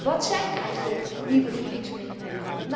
Wat zijn eigenlijk nieuwe voedingsmiddelen?